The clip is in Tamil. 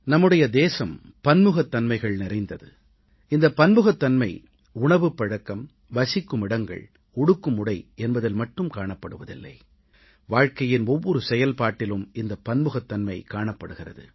நம்முடைய தேசம் பன்முகத்தன்மைகள் நிறைந்தது இந்தப் பன்முகத்தன்மை உணவுப் பழக்கம் வசிக்குமிடங்கள் உடுக்கும் உடை என்பதில் மட்டும் காணப்படுவதில்லை வாழ்வின் ஒவ்வொரு செயல்பாட்டிலும் இந்தப் பன்முகத்தன்மை காணப்படுகிறது